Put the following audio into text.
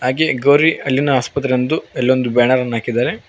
ಹಾಗೆ ಗೋರಿ ಅಲ್ಲಿನ ಆಸ್ಪತ್ರೆ ಅಂದು ಅಲ್ಲೊಂದ ಬ್ಯಾನರನ್ನ ಹಾಕಿದ್ದಾರೆ.